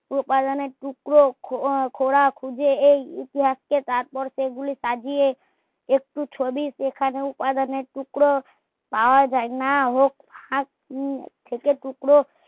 পা পালনের টুকরো খোলা খুঁজে এই ইতিহাস কে তাৎপর্য গুলো সাজিয়ে একটু ছবি উ উপাদানের টুকরো পাওয়া যায় না ও আ থেকে টুকরো